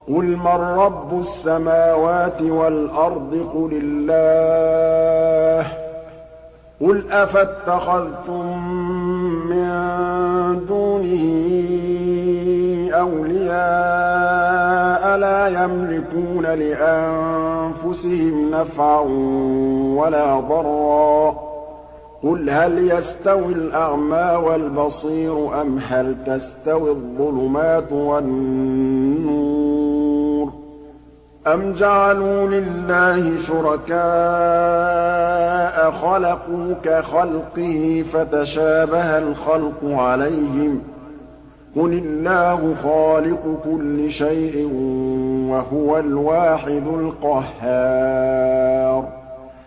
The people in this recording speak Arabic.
قُلْ مَن رَّبُّ السَّمَاوَاتِ وَالْأَرْضِ قُلِ اللَّهُ ۚ قُلْ أَفَاتَّخَذْتُم مِّن دُونِهِ أَوْلِيَاءَ لَا يَمْلِكُونَ لِأَنفُسِهِمْ نَفْعًا وَلَا ضَرًّا ۚ قُلْ هَلْ يَسْتَوِي الْأَعْمَىٰ وَالْبَصِيرُ أَمْ هَلْ تَسْتَوِي الظُّلُمَاتُ وَالنُّورُ ۗ أَمْ جَعَلُوا لِلَّهِ شُرَكَاءَ خَلَقُوا كَخَلْقِهِ فَتَشَابَهَ الْخَلْقُ عَلَيْهِمْ ۚ قُلِ اللَّهُ خَالِقُ كُلِّ شَيْءٍ وَهُوَ الْوَاحِدُ الْقَهَّارُ